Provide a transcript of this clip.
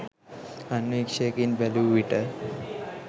අන්වීක්ෂයකින් බැලූ විට